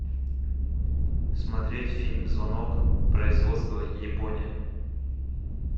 смотреть фильм звонок производство япония